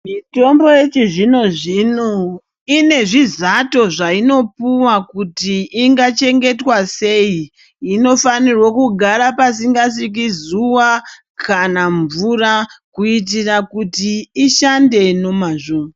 Mitombo yechizvino zvino ine zvizato zvainopuwa kuti zvingachengetwa sei inofaNirwa kugara Pasingasviki zuwa kana mvura kuitira kuti ishande nemazvo.